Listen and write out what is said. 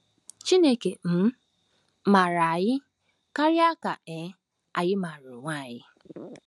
Chineke um maara anyị karịa ka um anyị maara onwe anyị.